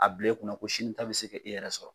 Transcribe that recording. A bila i kunna ko sini ta bɛ se ka e yɛrɛ sɔrɔ.